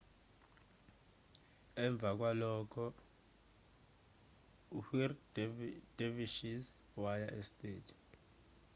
emva kwalokhuu-whirling dervishes waya esteji